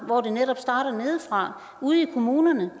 hvor det netop starter nedefra ude i kommunerne